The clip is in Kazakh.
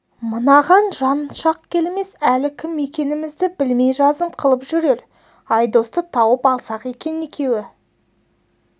мынаған жан шақ келмес әлі кім екенімізді білмей жазым қылып жүрер айдосты тауып алсақ екен екеуі